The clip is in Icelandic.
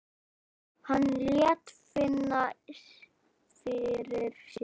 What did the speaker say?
Hann lét finna fyrir sér.